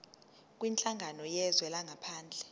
kwinhlangano yezwe langaphandle